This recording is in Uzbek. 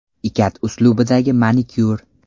Ikat uslubidagi manikyur.